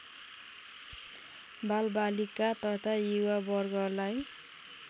बालबालिका तथा युवा वर्गलाई